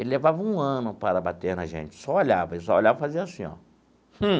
Ele levava um ano para bater na gente, só olhava, ele só olhava e fazia assim, ó. Hum!